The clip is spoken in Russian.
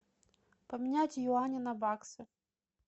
поменять юани на баксы